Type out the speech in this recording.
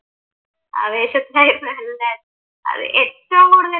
ആവേശത്തിൽ ഏറ്റവും കൂടുതൽ